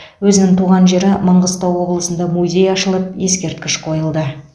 өзінің туған жері маңғыстау облысында музей ашылып ескерткіш қойылды